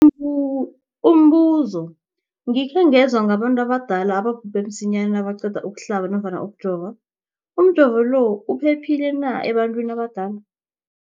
Umbu umbuzo, gikhe ngezwa ngabantu abadala ababhubhe msinyana nabaqeda ukuhlaba nofana ukujova. Umjovo lo uphephile na ebantwini abadala?